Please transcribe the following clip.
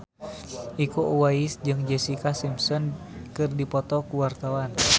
Iko Uwais jeung Jessica Simpson keur dipoto ku wartawan